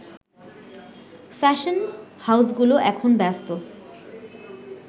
fashion হাউসগুলো এখন ব্যস্ত